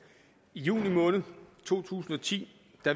i juni måned to tusind og ti